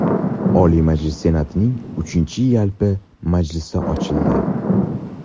Oliy Majlis Senatining uchinchi yalpi majlisi ochildi.